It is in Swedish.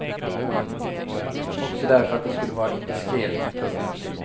Också därför att det skulle vara indiskret. punkt